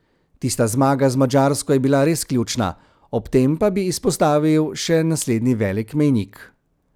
Tista zmaga z Madžarsko je res bila ključna, ob tem pa bi izpostavil še naslednji veliki mejnik.